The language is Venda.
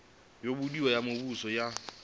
yo buliwaho ya muvhuso ya